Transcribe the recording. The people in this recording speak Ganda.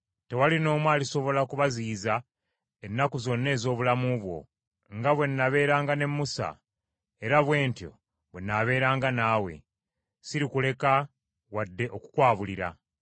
Tewali n’omu alisobola kubaziyiza ennaku zonna ez’obulamu bwo; nga bwe nabeeranga ne Musa era bwe ntyo bwe nnaabeeranga naawe, sirikuleka wadde okukwabuulira.